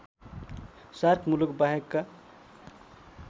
shark मुलुक बाहेकका